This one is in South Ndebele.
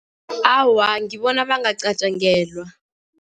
Awa, ngibona bangacatjangelwa.